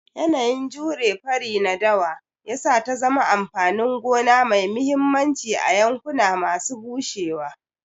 Yanayin jure fari na dawa ya sa ta zama amfanin gona mai mahimmanci a yankuna masu bushewa.